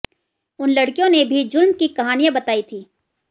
इन लड़कियों ने भी ज़ुल्म की कहानियां बताई थीं